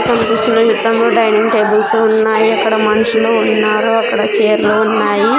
కన్పిస్తున్నాయి dining tables ఉన్నాయి అక్కడ మనుషులు ఉన్నారు అక్కడ చేర్లు ఉన్నాయి.